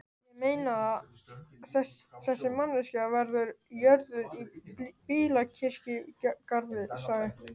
Ég meinaða, þessi manneskja verður jörðuð í bílakirkjugarði sagði